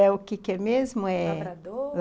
É o que que é mesmo? eh... lavrador...